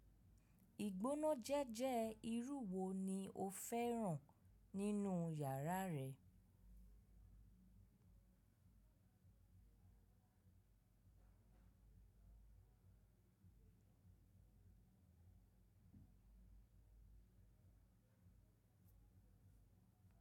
Ìgbónájẹ́jẹ́ irú wo ni o fẹ́ràn nínú yàrá rẹ?